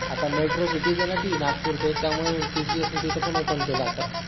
आता metro cities आहे ना ती नागपूरचे त्यामुळे TCS ने तिथं पण open केल आता